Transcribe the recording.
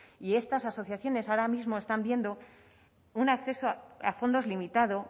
y estas asociaciones ahora mismo están viendo un acceso a fondos limitado